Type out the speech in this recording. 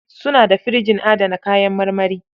Suna da firjin adana kayan marmari.